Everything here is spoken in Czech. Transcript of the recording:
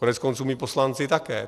Koneckonců my poslanci také.